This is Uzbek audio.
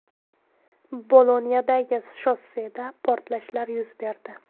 Bolonyadagi shosseda portlashlar yuz berdi.